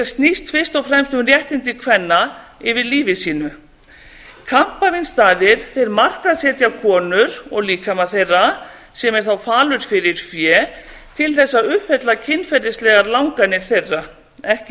snýst fyrst og fremst um réttindi kvenna yfir lífi sínu kampavínsstaðir markaðssetja konur og líkama þeirra sem er þá falur fyrir fé til þess að uppfylla kynferðislegar langanir þeirra ekki